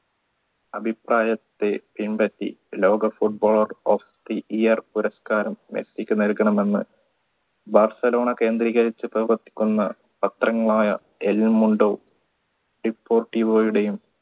അഭിപ്രായത്തെ പിൻപറ്റി ലോക footballer of the yeat പുരസ്കാരം മെസ്സിക്ക് നൽകണമെന്ന് ബാഴ്സലോണ കേന്ദ്രീകരിച്ച് പ്രവർത്തിക്കുന്ന പത്രങ്ങളായ